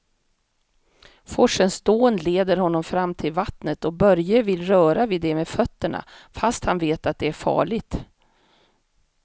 Forsens dån leder honom fram till vattnet och Börje vill röra vid det med fötterna, fast han vet att det är farligt.